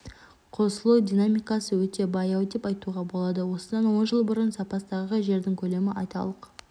қосылу динамикасы өте баяу деп айтуға болады осыдан он жыл бұрын запастағы жердің көлемі айталық